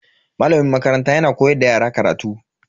Malamin makaranta yana koyar da yara karatu.